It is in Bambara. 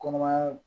Kɔnɔmaya